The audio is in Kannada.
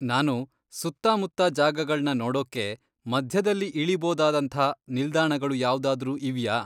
ನಾನು ಸುತ್ತಾಮುತ್ತ ಜಾಗಗಳ್ನ ನೋಡೋಕ್ಕೆ ಮಧ್ಯದಲ್ಲಿ ಇಳಿಬೋದಾದಂಥಾ ನಿಲ್ದಾಣಗಳು ಯಾವ್ದಾದ್ರೂ ಇವ್ಯಾ?